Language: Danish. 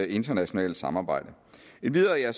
internationalt samarbejde endvidere